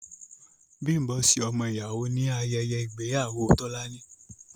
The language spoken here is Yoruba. Bimbo ṣe ọmọ ìyàwó ní ayẹyẹ ìgbéyàwó Tọ́lání.